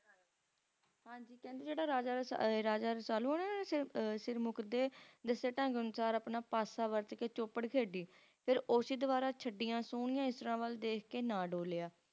ਹਾਂਜੀ ਕਹਿੰਦੇ ਜਿਹੜਾ ਰਾਜਾ ਅਹ Raja Rasalu ਆ ਨਾ ਜਿਹੜਾ Sirmukh ਦੇ ਦੱਸੇ ਢੰਗ ਅਨੁਸਾਰ ਆਪਣਾ ਪਾਸਾ ਵੱਟ ਕੇ Chopad ਖੇਡੀ ਤੇ ਫੇਰ ਉਸੇ ਦੁਬਾਰਾ ਛੱਡੀਆਂ ਸੋਹਣੀਆਂ ਇਸਰਾਂ ਵੱਲ ਦੇਖਕੇ ਨਾ ਡੋਲਿਆ